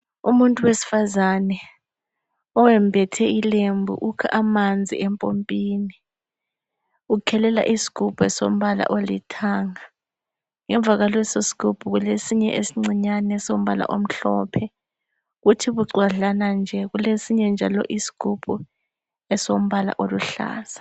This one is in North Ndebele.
Umuntu wesifazane owembethe ilembu ,ukha amanzi empompini. Ukhelela isigubhu elombala olithanga ,ngemva kwalesi sigubhu kulesinye elincinyane esombala omhlophe. Njalo bucwadlana nje kulesinye njalo isigubhu esombala oluhlaza.